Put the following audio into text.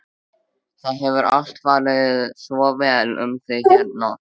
Það hefur alltaf farið svo vel um þig hérna.